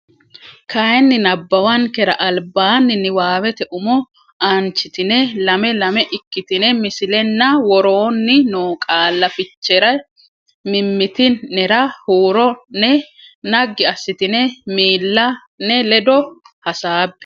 kayinni nabbawankera albaanni niwaawete umo aanchitine lame lame ikkitine misilenna woroonni noo qaalla fichere mimmiti nera huuro ne naggi assitine miilla ne ledo hasaabbe.